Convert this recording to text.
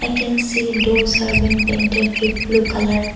we can see doors are been painted with blue colour.